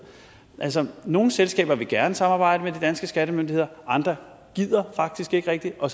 altså nogle selskaber vil gerne samarbejde med de danske skattemyndigheder andre gider faktisk ikke rigtig og